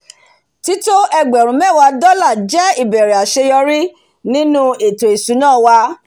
tító ẹgbẹ̀rún méwà dọ́là jẹ̀ ìbẹ̀rẹ̀ àséyórí nínu ètò ìsúná wa